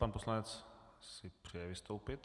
Pan poslanec si přeje vystoupit.